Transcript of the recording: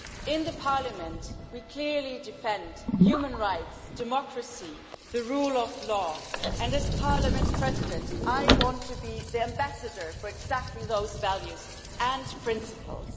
In Parliament we clearly defend human rights, democracy, the rule of law, and as Parliament President I want to be the ambassador for exactly those values and principles.